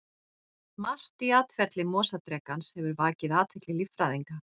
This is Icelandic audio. Margt í atferli mosadrekans hefur vakið athygli líffræðinga.